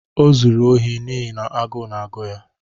O zuru ohi n’ihi na agụụ na-agụ ya.